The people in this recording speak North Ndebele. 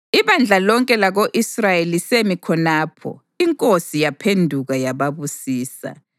Ibandla lonke lako-Israyeli lisemi khonapho, inkosi yaphenduka yababusisa.